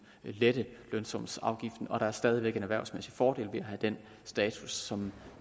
lette lønsumsafgiften og der er stadig væk en erhvervsmæssig fordel ved at have den status som